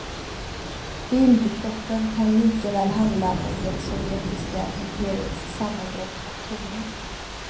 Bildkrocken kan lika väl handla om det sovjetiska imperiets sammanbrott och tomhet.